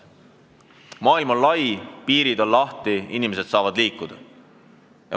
Maailm on lai, piirid on lahti, inimesed saavad liikuda.